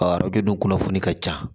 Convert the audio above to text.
A bɛ kɛ dunnafoni ka ca